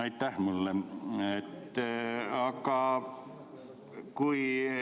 Aitäh!